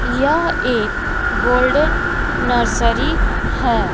यह एक golden nursery है।